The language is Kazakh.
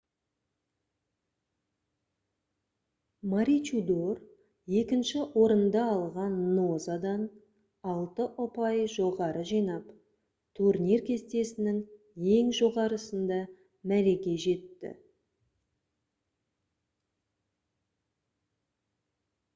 маручидор екінші орынды алған нозадан алты ұпай жоғары жинап турнир кестесінің ең жоғарысында мәреге жетті